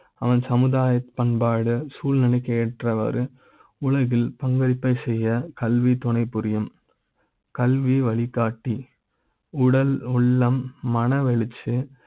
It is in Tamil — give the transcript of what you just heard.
அவன் சமுதாய பண்பாடு சூழ்நிலை க்கு ஏற்ற வாறு உலகில் பங்களிப்பை செய்ய கல்வி துணைபுரியும் கல்வி வழிகாட்டி உடல் உள்ள ம் மனவெழுச்சி,